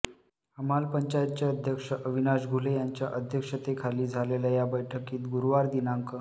हमाल पंचायतचे अध्यक्ष अविनाश घुले यांच्या अध्यक्षतेखाली झालेल्या या बैठकीत गुरुवार दि